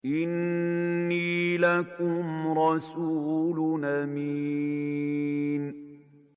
إِنِّي لَكُمْ رَسُولٌ أَمِينٌ